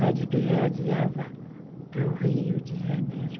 Rádio que radiava para o Rio de Janeiro.